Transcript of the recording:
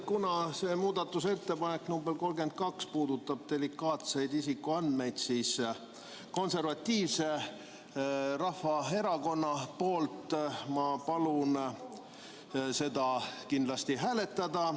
Kuna muudatusettepanek nr 32 puudutab delikaatseid isikuandmeid, siis Eesti Konservatiivse Rahvaerakonna nimel ma palun seda kindlasti hääletada.